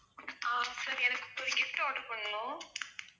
ஆஹ் sir எனக்கு ஒரு gift order பண்ணனும்